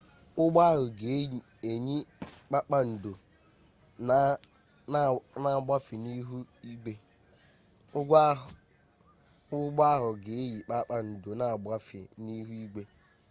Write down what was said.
ụgbọ ahụ ga eyi kpakpando na-agbafe n'ihu igwe